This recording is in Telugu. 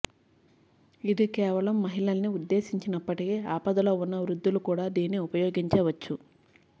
ఇది కేవలం మహిళల్ని ఉద్ధేశించినప్పటికీ ఆపదలో ఉన్న వృద్ధులు కూడా దీన్ని ఉపయోగించవచ్చు